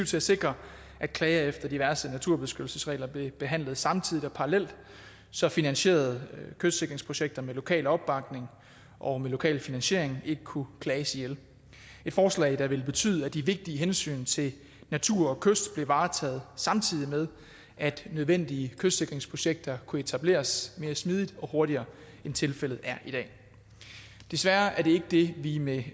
til at sikre at klager efter diverse naturbeskyttelsesregler blev behandlet samtidig og parallelt så finansierede kystsikringsprojekter med lokal opbakning og med lokal finansiering ikke kunne klages ihjel forslag der ville betyde at de vigtige hensyn til natur og kyst blev varetaget samtidig med at nødvendige kystsikringsprojekter kunne etableres mere smidigt og hurtigere end tilfældet er i dag desværre er det ikke det vi med